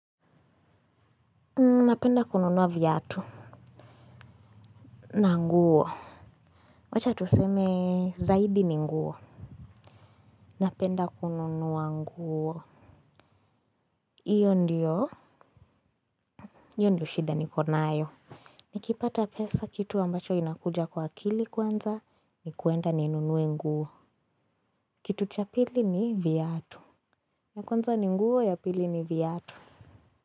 Napenda kununua viatu na nguo. Wacha tuseme zaidi ni nguo. Napenda kununua nguo hiyo ndiyo hiyo ndio shida niko nayo. Nikipata pesa kitu ambacho inakuja kwa akili kwanza ni kuenda ninunue nguo. Kitu cha pili ni viatu. Na kwanza ni nguo ya pili ni viatu.